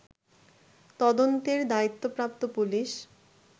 তদন্তের দায়িত্বপ্রাপ্ত পুলিশ